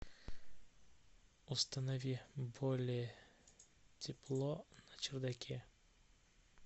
установи более тепло на чердаке